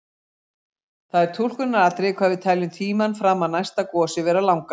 Það er túlkunaratriði hvað við teljum tímann fram að næsta gosi vera langan.